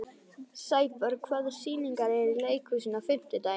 Sæborg, hvaða sýningar eru í leikhúsinu á fimmtudaginn?